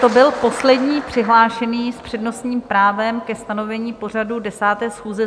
To byl poslední přihlášený s přednostním právem ke stanovení pořadu 10. schůze.